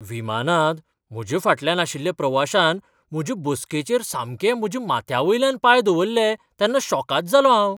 विमानांत म्हज्या फाटल्यान आशिल्ल्या प्रवाशान म्हजे बसकेचेर सामके म्हज्या माथ्यावयल्यान पांय दवरले तेन्ना शॉकाद जालों हांव!